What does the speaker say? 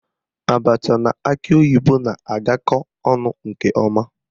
Abacha na akị oyibo na-agakọ ọnụ nke ọma